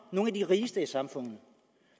nogle af de rigeste i samfundet